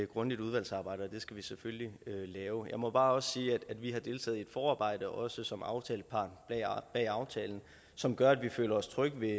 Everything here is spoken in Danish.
grundigt udvalgsarbejde og det skal vi selvfølgelig lave jeg må også bare sige at vi har deltaget i et forarbejde også som aftalepart bag aftalen som gør at vi føler os trygge ved